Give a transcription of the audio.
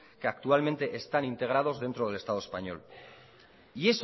que actualmente están integrados dentro del estado español y